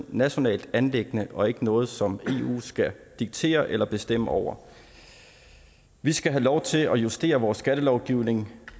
nationalt anliggende og ikke noget som eu skal diktere eller bestemme over vi skal have lov til at justere vores skattelovgivning